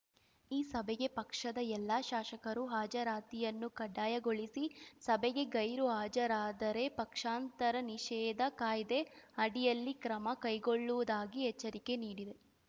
ಈ ಸಭೆಗೆ ಪಕ್ಷದ ಎಲ್ಲಾ ಶಾಸಕರು ಹಾಜರಾತಿಯನ್ನು ಕಡ್ಡಾಯಗೊಳಿಸಿ ಸಭೆಗೆ ಗೈರು ಹಾಜರಾದರೆ ಪಕ್ಷಾಂತರ ನಿಷೇಧ ಕಾಯ್ದೆ ಅಡಿಯಲ್ಲಿ ಕ್ರಮ ಕೈಗೊಳ್ಳುವುದಾಗಿ ಎಚ್ಚರಿಕೆ ನೀಡಿದೆ